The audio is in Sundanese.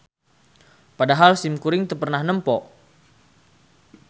Padahal simkuring teu pernah nempo